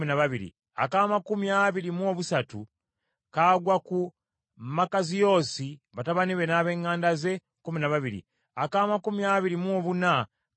ak’amakumi abiri mu buna kagwa ku Lomamutyezeri, batabani be n’ab’eŋŋanda ze, kkumi na babiri.